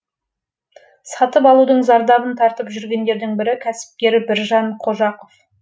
сатып алудың зардабын тартып жүргендердің бірі кәсіпкер біржан қожақов